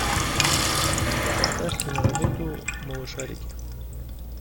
поставь киноработу малышарики